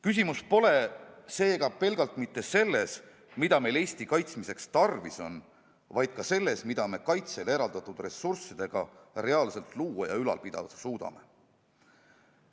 Küsimus pole seega pelgalt mitte selles, mida meil Eesti kaitsmiseks tarvis on, vaid ka selles, mida me kaitsele eraldatud ressurssidega reaalselt luua ja ülal pidada suudame.